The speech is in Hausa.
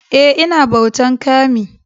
Eh, I na bautan" kami"